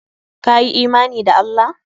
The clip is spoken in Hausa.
Ka yi imani da Allah?